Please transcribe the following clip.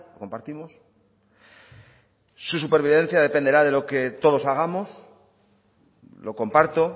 compartimos su supervivencia dependerá de lo que todos hagamos lo comparto